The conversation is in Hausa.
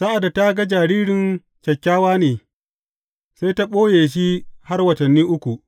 Sa’ad da ta ga jaririn kyakkyawa ne, sai ta ɓoye shi har watanni uku.